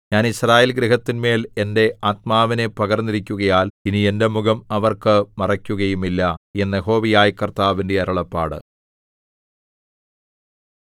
ഞാൻ യിസ്രായേൽഗൃഹത്തിന്മേൽ എന്റെ ആത്മാവിനെ പകർന്നിരിക്കുകയാൽ ഇനി എന്റെ മുഖം അവർക്ക് മറയ്ക്കുകയുമില്ല എന്ന് യഹോവയായ കർത്താവിന്റെ അരുളപ്പാട്